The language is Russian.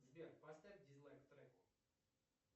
сбер поставь дизлайк треку